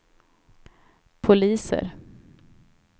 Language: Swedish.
poliser